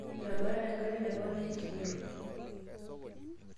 etabatate engarri te kona eeh chino